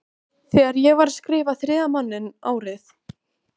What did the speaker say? Þegar ég var að skrifa Þriðja manninn árið